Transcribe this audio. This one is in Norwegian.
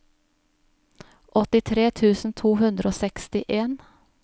åttitre tusen to hundre og sekstien